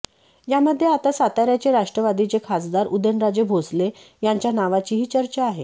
यामध्ये आता साताऱ्याचे राष्ट्रवादीचे खासदार उदयनराजे भोसले यांच्या नावाचीही चर्चा आहे